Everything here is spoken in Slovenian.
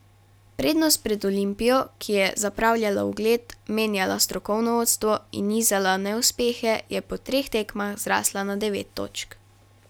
Prednost pred Olimpijo, ki je zapravljala ugled, menjala strokovno vodstvo in nizala neuspehe, je po treh tekmah zrasla na devet točk.